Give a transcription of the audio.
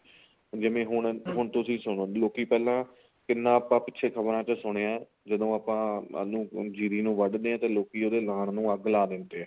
ਜਿਵੇਂ ਹੁਣ ਹੁਣ ਤੁਸੀਂ ਸੁਣੋ ਲੋਕੀ ਪਹਿਲਾਂ ਕਿੰਨਾ ਆਪਾਂ ਪਿੱਛੇ ਅਖਬਾਰ ਚ ਸੁਣਿਆ ਜਦੋਂ ਆਪਾਂ ਉਹਨੂੰ ਜੀਰੀ ਨੂੰ ਵੱਡਦੇ ਆ ਤਾਂ ਲੋਕੀ ਉਹਦੇ ਲਾਣ ਨੂੰ ਅੱਗ ਲਾ ਦਿੰਦੇ ਏ